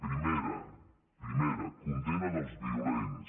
primera condemna dels violents